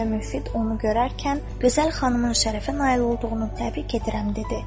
Xacə Müfid onu görərkən "Gözəl xanımın şərəfinə nail olduğunu təbrik edirəm" dedi.